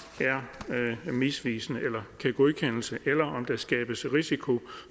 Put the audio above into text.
det foreslåede er misvisende eller kan godkendes eller om der skabes risiko